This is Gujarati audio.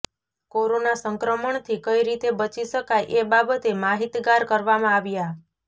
કોરોના સંક્રમણથી કઇ રીતે બચી શકાય એ બાબતે માહિતગાર કરવામાં આવ્યા